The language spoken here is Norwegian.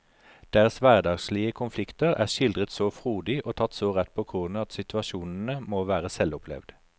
Deres hverdagslige konflikter er skildret så frodig og tatt så rett på kornet at situasjonene må være selvopplevd.